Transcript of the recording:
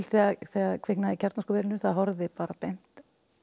þegar kviknaði í kjarnorkuverinu það horfði bara beint